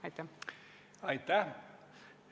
Aitäh!